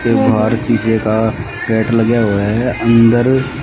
के बाहर शीशे का गेट लगे हुए है अंदर--